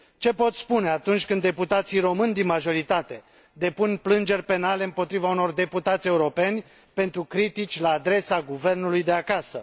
Ce pot spune atunci când deputații români din majoritate depun plângeri penale împotriva unor deputați europeni pentru critici la adresa guvernului de acasă?